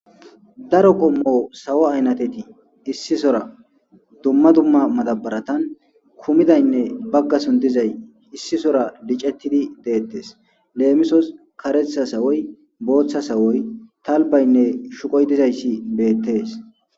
daro kommo sawo aynateti issisora dumma dumma madabaratan kumidaynne baggason dizay issisora licettidi deettes leemisos karetha sawoy booththa sawoy talbaynne shuqoy dizayssi beettes.